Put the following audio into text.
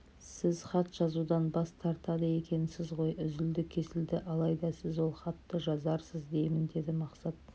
сіз хат жазудан бас тартады екенсіз ғой үзілді-кесілді алайда сіз ол хатты жазарсыз деймін деді мақсат